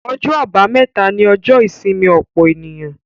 Ọjọ́ àbámẹ́ta ni ọjọ́ ìsinmi ọ̀pọ̀ ènìyàn.